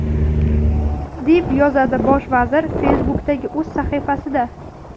deb yozadi Bosh vazir Facebook’dagi o‘z sahifasida.